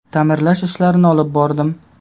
Ta’mirlash ishlarini olib bordim.